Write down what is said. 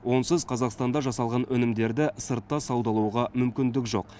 онсыз қазақстанда жасалған өнімдерді сыртта саудалауға мүмкіндік жоқ